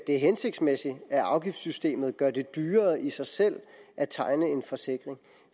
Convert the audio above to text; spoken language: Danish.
er hensigtsmæssigt at afgiftssystemet gør det dyrere i sig selv at tegne en forsikring